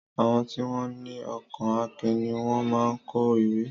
Àwọn tí wọn ní ọkàn akin ní wón máa ń kọ ìwé